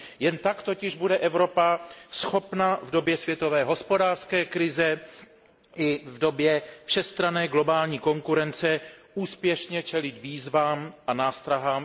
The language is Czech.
Jen tak totiž bude Evropa schopna v období světové hospodářské krize i v době všestranné globální konkurence úspěšně čelit výzvám a nástrahám